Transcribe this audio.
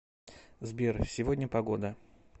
сбер сегодня погода